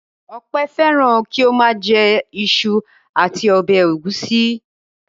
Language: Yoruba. Ọpẹ́ fẹ́ràn kí ó máa jẹ iṣu àti ọbẹ̀ ẹ̀gúsí.